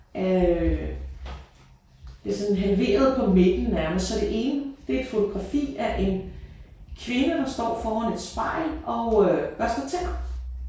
Af øh det er sådan halveret på midten nærmest så det ene det er et fotografi af en kvinde der står foran et spejl og øh børster tænder